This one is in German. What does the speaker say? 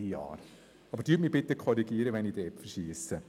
Bitte korrigieren Sie mich, wenn ich da falsch liege.